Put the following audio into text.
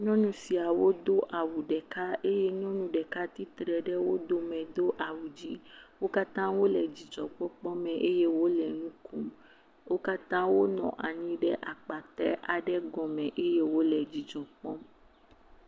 Nyɔnu siawo do awu ɖeka eye ɖeka tsitre ɖe wo dome do awu dzẽ. Wo katã wole dzidzɔkpɔkpɔme eye wole nu kom. Wo katã wonɔ anyi ɖe akpatɛ aɖe gɔme eye wole dzidzɔ kpɔm.